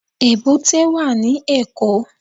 Èbúté wà ní Èkó.